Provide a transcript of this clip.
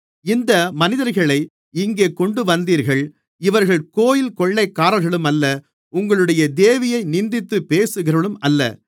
இந்த மனிதர்களை இங்கே கொண்டுவந்தீர்கள் இவர்கள் கோவில் கொள்ளைக்காரர்களும் அல்ல உங்களுடைய தேவியை நிந்தித்துப் பேசுகிறவர்களும் அல்ல